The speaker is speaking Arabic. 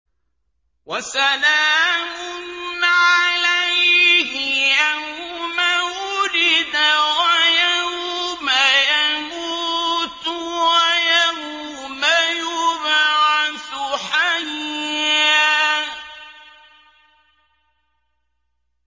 وَسَلَامٌ عَلَيْهِ يَوْمَ وُلِدَ وَيَوْمَ يَمُوتُ وَيَوْمَ يُبْعَثُ حَيًّا